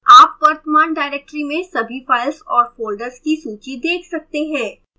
आप वर्तमान directory में सभी files और folders की सूची देख सकते हैं